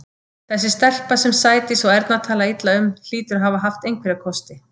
Þessi stelpa, sem Sædís og Erna tala illa um, hlýtur að hafa haft einhverja kosti.